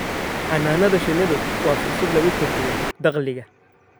Xannaanada shinnidu waa fursad lagu kordhiyo dakhliga.